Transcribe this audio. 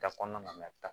Da kɔnɔna na